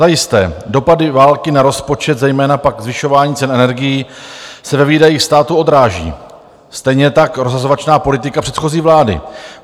Zajisté, dopady války na rozpočet, zejména pak zvyšování cen energií, se ve výdajích státu odráží, stejně tak rozhazovačná politika předchozí vlády.